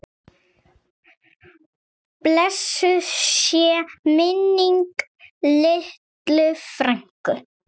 Blessuð sé minning Lillu frænku.